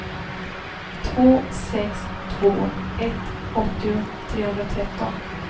två sex två ett åttio trehundratretton